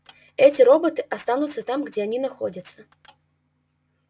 эти роботы останутся там где они находятся